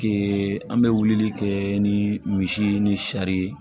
an bɛ wilili kɛ ni misi ni sari ye